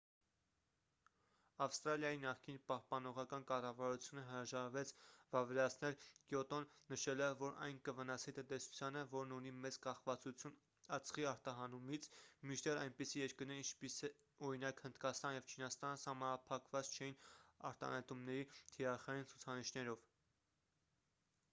ավստրալիայի նախկին պահպանողական կառավարությունը հրաժարվեց վավերացնել կյոտոն նշելով որ այն կվնասի տնտեսությանը որն ունի մեծ կախվածություն ածխի արտահանումից մինչդեռ այնպիսի երկրներ ինչպես օրինակ հնդկաստանը և չինաստանը սահմանափակված չէին արտանետումների թիրախային ցուցանիշներով